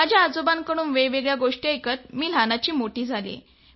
माझ्या आजोबांकडून वेगवेगळ्या गोष्टी ऐकत मी लहानाची मोठी झाले